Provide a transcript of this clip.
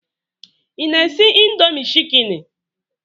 Ị na-esi indomie chikeni?